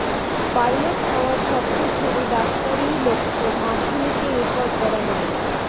pilot হওয়ার স্বপ্ন ছেড়ে ডাক্তারিই লক্ষ্য মাধ্যমিকে রেকর্ড গড়া মেয়ের